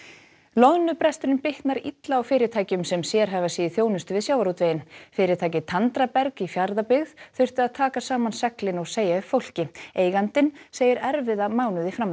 loðnubresturinn bitnar illa á fyrirtækjum sem sérhæfa sig í þjónustu við sjávarútveginn fyrirtækið Tandraberg í Fjarðabyggð þurfti að taka saman seglin og segja upp fólki eigandinn segir erfiða mánuði